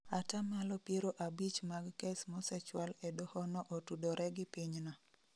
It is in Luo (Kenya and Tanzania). Atamalo piero abich mag kes mosechwal e doho no otudore gi pinyno